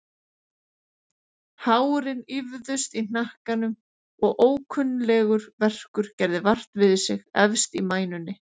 Hárin ýfðust í hnakkanum og ókunnuglegur verkur gerði vart við sig efst í mænunni.